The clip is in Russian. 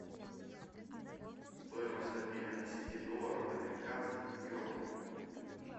стоимость обмена десяти долларов американских в юани